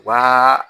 U b'aa